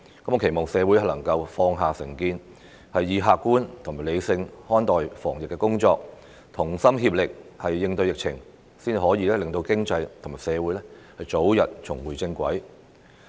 我期望社會能夠放下成見，客觀和理性看待防疫工作，同心協力應對疫情，這樣才可以令經濟和社會早日重回正軌。